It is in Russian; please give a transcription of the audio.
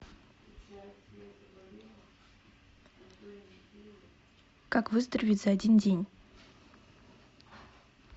как выздороветь за один день